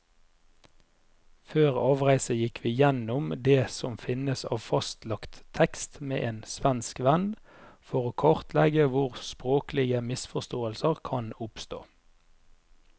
Før avreise gikk vi gjennom det som finnes av fastlagt tekst med en svensk venn, for å kartlegge hvor språklige misforståelser kan oppstå.